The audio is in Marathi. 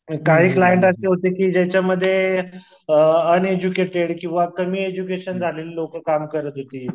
तर काही क्लाएंट असे होते की ज्यांच्यामध्ये अ अनएडज्युकेटेड किंवा कमी एडज्युकेशन झालेलं लोकं काम करत होती.